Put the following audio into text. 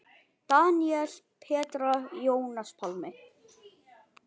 Daníel, Petra, Jónas Pálmi.